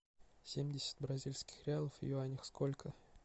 семьдесят бразильских реалов в юанях сколько